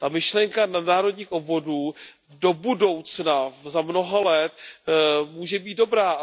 Ta myšlenka nadnárodních obvodů do budoucna, za mnoho let může být dobrá.